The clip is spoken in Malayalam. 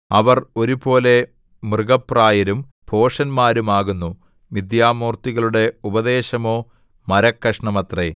അവർ ഒരുപോലെ മൃഗപ്രായരും ഭോഷന്മാരും ആകുന്നു മിഥ്യാമൂർത്തികളുടെ ഉപദേശമോ മരക്കഷണമത്രേ